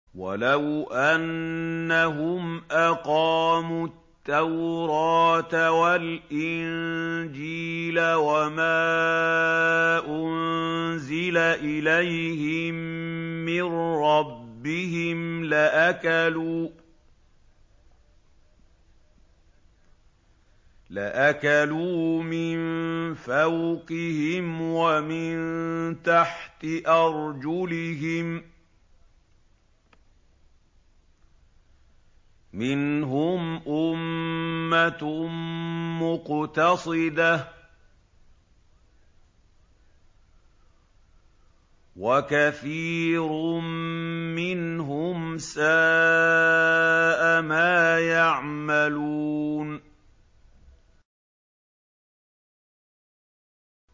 وَلَوْ أَنَّهُمْ أَقَامُوا التَّوْرَاةَ وَالْإِنجِيلَ وَمَا أُنزِلَ إِلَيْهِم مِّن رَّبِّهِمْ لَأَكَلُوا مِن فَوْقِهِمْ وَمِن تَحْتِ أَرْجُلِهِم ۚ مِّنْهُمْ أُمَّةٌ مُّقْتَصِدَةٌ ۖ وَكَثِيرٌ مِّنْهُمْ سَاءَ مَا يَعْمَلُونَ